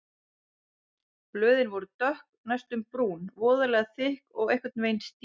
Blöðin voru dökk, næstum brún, voðalega þykk og einhvern veginn stíf.